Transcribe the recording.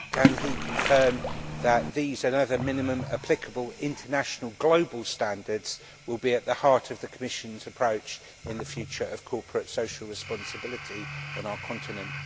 Can he confirm that these and other minimum applicable international global standards will be at the heart of the Commission's approach to the future of corporate social responsibility on our continent?